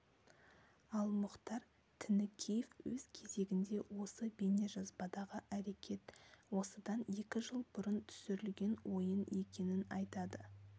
ал мұхтар тінікеев өз кезегінде осы бейнежазбадағы әрекет осыдан екі жыл бұрын түсірілген ойын екенін айтады